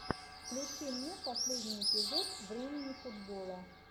включи мне последний эпизод времени футбола